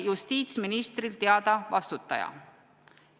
Justiitsministril oli vastutaja teada.